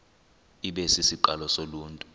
ibe sisiqalo soluntu